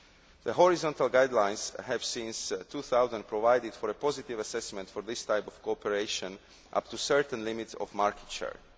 The horizontal guidelines have, since 2000, provided for a positive assessment for this type of cooperation up to certain limits of market share.